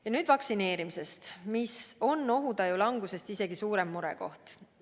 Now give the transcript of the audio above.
Ja nüüd vaktsineerimisest, mis on isegi suurem murekoht kui ohutaju langus.